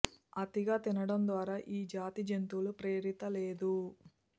అతిగా తినడం ద్వారా ఈ జాతి జంతువులు ప్రేరిత లేదు